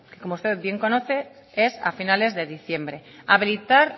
que como usted bien conoce es a finales de diciembre habilitar